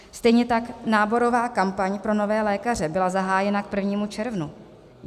Stejně tak náborová kampaň pro nové lékaře byla zahájena k 1. červnu.